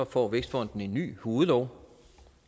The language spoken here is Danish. får vækstfonden en ny hovedlov